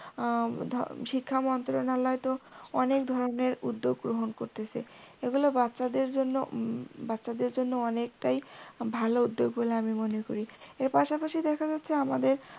শিক্ষাম্ত্রণালয় তো অনেক ধরনের উদ্যোগ গ্রহণ করতেসে, এগুলো বাচ্চা দের জন্যে বাচ্চা দের জন্য অনেকটায় ভালো উদ্যোগ বলে আমি মনে করি, এর পাশাপশি দেখা যাচ্ছে আমাদের